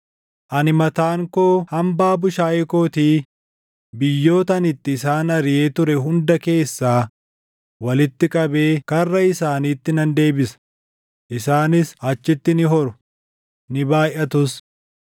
“Ani mataan koo hambaa bushaayee kootii biyyoota ani itti isaan ariʼee ture hunda keessaa walitti qabee karra isaaniitti nan deebisa; isaanis achitti ni horu; ni baayʼatus.